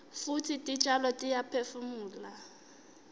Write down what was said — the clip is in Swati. futsi titjalo tiyaphefumula